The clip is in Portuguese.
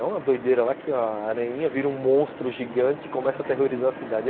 É uma doideira lá que a aranhinha vira um monstro gigante e começa a aterrorizar a cidade.